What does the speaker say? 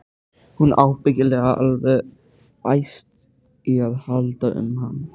Hún er ábyggilega alveg æst í að halda um hann.